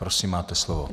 Prosím, máte slovo.